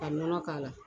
Ka nɔnɔ k'a la